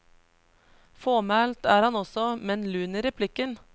Fåmælt er han også, men lun i replikken.